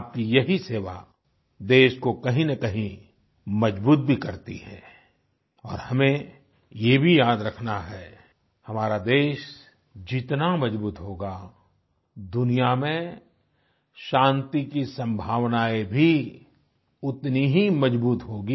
आपकी यही सेवा देश को कहीं नकहीं मजबूत भी करती है और हमें ये भी याद रखना है हमारा देश जितना मजबूत होगा दुनिया में शांति की संभावनाएं भी उतनी ही मजबूत होंगी